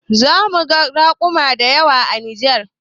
Zamuga raƙuma dayawa a Nijar